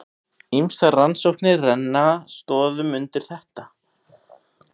Ýmsar rannsóknir renna stoðum undir þetta.